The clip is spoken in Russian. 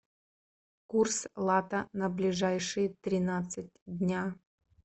курс лата на ближайшие тринадцать дня